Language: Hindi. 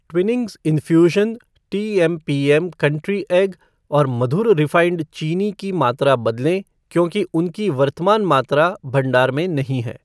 Twinings infusion tea M P M country egg और मधुर रिफ़ाइंड चीनी की मात्रा बदलें क्योंकि उनकी वर्तमान मात्रा भंडार में नहीं है।